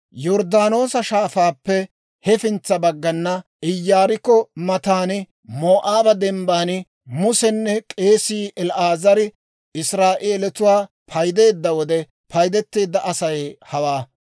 Yorddaanoosa Shaafaappe hefintsa baggana, Iyaarikko matan, Moo'aaba Dembban Musenne k'eesii El"aazari Israa'eelatuwaa paydeedda wode, paydeteedda Asay hawaa.